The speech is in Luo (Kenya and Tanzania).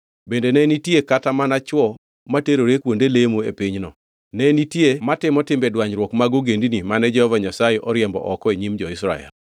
Bende ne nitie kata mana chwo materore kuonde lemo e pinyno, ne nitie kendo ji notimo timbe dwanyruok mag ogendini mane Jehova Nyasaye oriembo oko e nyim jo-Israel.